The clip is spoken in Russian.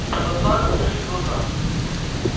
у продавца округлились глаза